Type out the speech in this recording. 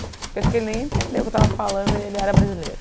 Eu acho que ele nem entendeu o que eu tava falando e ele era brasileiro.